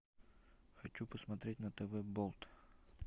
хочу посмотреть на тв болт